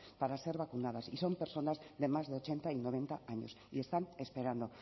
para ser vacunadas y son personas de más de ochenta y noventa años y están esperando